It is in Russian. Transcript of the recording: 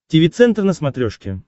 тиви центр на смотрешке